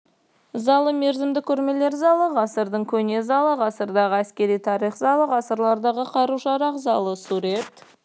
залы мерзімді көрмелер залы ғасырдың көне залы ғасырдағы әскери тарих залы ғасырлардағы қару-жарақ залы сурет